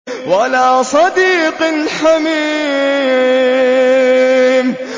وَلَا صَدِيقٍ حَمِيمٍ